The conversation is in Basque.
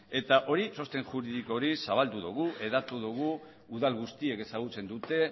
eta hori txosten juridiko hori zabaldu dugu hedatu dugu udal guztiek ezagutzen dute